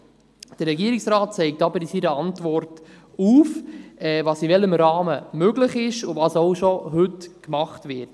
Der Regierungsrat zeigt aber in seiner Antwort auf, was in welchem Rahmen möglich ist und was heute bereits gemacht wird.